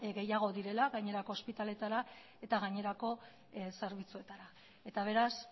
gehiago direla gainerako ospitaleetara eta gainerako zerbitzuetara eta beraz